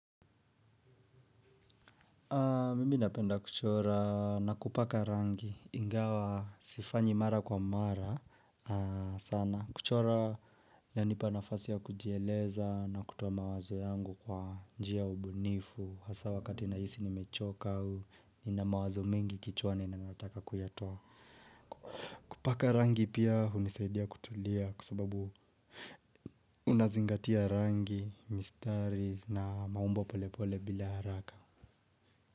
Mimi napenda kuchora na kupaka rangi ingawa sifanyi mara kwa mara sana. Kuchora yanipa nafasi ya kujieleza na kutoa mawazo yangu kwa njia ya ubunifu. Hasa wakati nahisi nimechoka au nina mawazo mengi kichwani na nataka kuyatoa. Kupaka rangi pia hunisaidia kutulia kwa sababu unazingatia rangi, mistari na maumbo pole pole bila haraka.